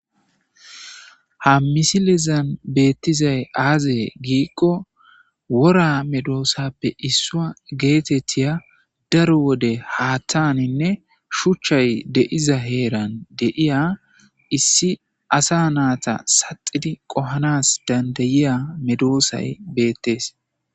Ha misilizan beettizay aaze giikko wora medoosappe issua geetettiya daro wode haattaninne shuchchay deiza heeran deiya issi asa naata saxidi qohanas dandayiya medoosay beettees.